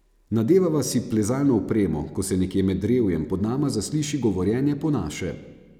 Nadevava si plezalno opremo, ko se nekje med drevjem pod nama zasliši govorjenje po naše.